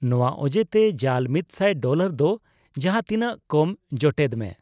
ᱱᱚᱣᱟ ᱚᱡᱮᱛᱮ ᱡᱟᱞ ᱢᱤᱛᱥᱟᱭ ᱰᱚᱞᱟᱨ ᱫᱚ ᱡᱟᱸᱦᱟ ᱛᱤᱱᱟᱹᱜ ᱠᱚᱢ ᱡᱚᱴᱮᱫ ᱢᱮ ᱾